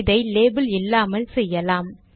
இதை லேபில் இல்லாமல் செய்யலாம்